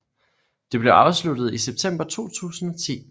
Det blev afsluttet i september 2010